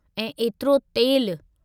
ऐं एतिरो तेलु!